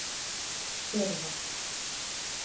Hjörvar